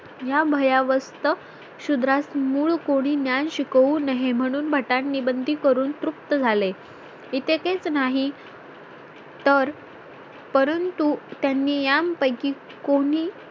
या भयावस्थ शुद्रास मूळ कोणीं ज्ञान शिकवू नये म्हणून भटांनी बंदी करून तृप्त झाले इतकेच नाही तर परंतु त्यांनी यांपैकी कोणी